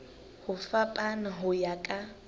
ho fapana ho ya ka